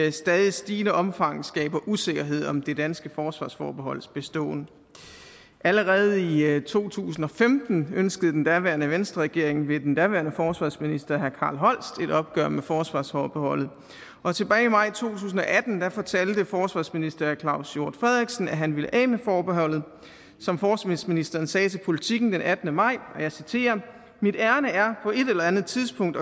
i stadig stigende omfang skaber usikkerhed om det danske forsvarsforbeholds beståen allerede i to tusind og femten ønskede den daværende venstreregering ved den daværende forsvarsministeren herre carl holst et opgør med forsvarsforbeholdet og tilbage i maj to tusind og atten fortalte forsvarsministeren at han ville af med forbeholdet som forsvarsministeren sagde til politiken den attende maj og jeg citerer mit ærinde er på et eller andet tidspunkt